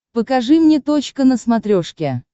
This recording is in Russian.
покажи мне точка на смотрешке